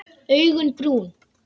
Augun brún.